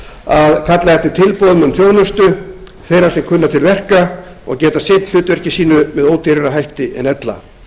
að kalla eftir tilboðum um þjónustu þeirra sem kunna til verka og geta sinnt hlutverki sínu með ódýrari hætti en ella